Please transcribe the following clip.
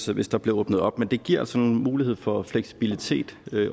hvis der bliver åbnet op men det giver altså en mulighed for fleksibilitet